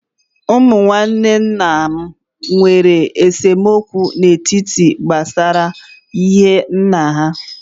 Ụmụ nwanne nna m nwèrè esemokwu n'etiti há gbásárá ihe nnà ha